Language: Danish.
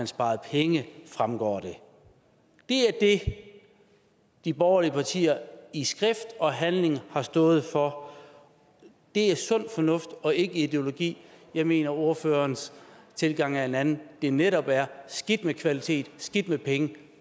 sparet penge fremgår det det er det de borgerlige partier i skrift og handling har stået for det er sund fornuft og ikke ideologi jeg mener at ordførerens tilgang er en anden at det netop er skidt med kvalitet skidt med penge